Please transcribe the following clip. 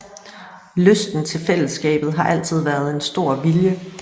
Lysten til fællesskabet har altid været en stor vilje